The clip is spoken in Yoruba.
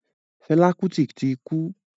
Fẹlá Kútì ti kú.